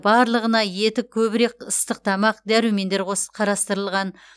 барлығына еті көбірек ыстық тамақ дәрумендер қарастырылған